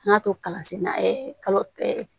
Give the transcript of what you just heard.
An ka to kalansen na ɛ kalo